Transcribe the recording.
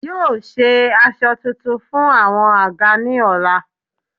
Yóò se aṣọ tuntun fún àwọn àga ni ọ̀la